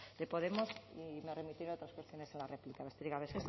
de podemos y me remitiré a otras cuestiones en la réplica besterik gabe